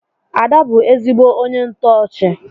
Ada bu ezigbo ónyé ntoochi.